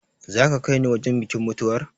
Za ka kai ni wajen bikin mutuwar?